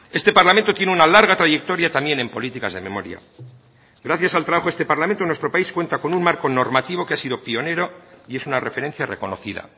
este parlamento tiene una larga trayectoria también en políticas de memoria gracias al trabajo de este parlamento nuestro país cuenta con un marco normativo que ha sido pionero y es una referencia reconocida